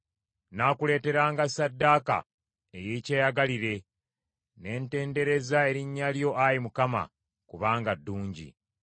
Nnaakuleeteranga ssaddaaka ey’ekyeyagalire; ne ntendereza erinnya lyo, Ayi Mukama , kubanga ddungi.